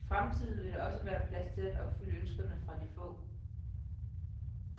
I fremtiden vil der også være plads til at opfylde ønskerne fra de få.